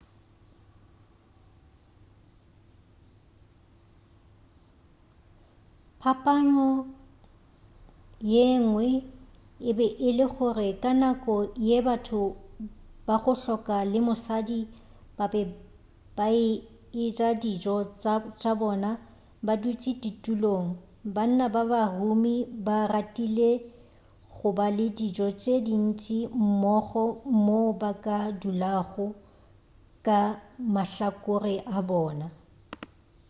phapano yengwe e be e le gore ka nako ye batho ba go hloka le mosadi ba be a eja dijo tša bona ba dutši ditulong banna ba ba humi ba ratile go ba le dijo tše dintši mmogo moo ba ka dulago ka mahlakore a bona